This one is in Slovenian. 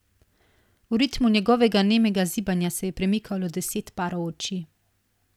V ritmu njegovega nemega zibanja se je premikalo deset parov oči.